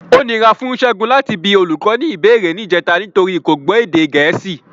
Ó nira fún Ṣẹ́gun láti bi olùkọ́ ní ìbéèrè níjẹta nítorí kò gbọ́ èdè Gẹ̀ẹ́sì.